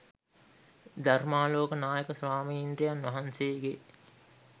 ධර්මාලෝක නායක ස්වාමීන්ද්‍රයන් වහන්සේගේ